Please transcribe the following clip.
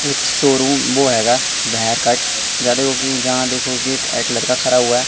एक शोरूम वो आएगा वह कट जहां देखो कि जहां देखो कि एक लड़का खड़ा हुआ--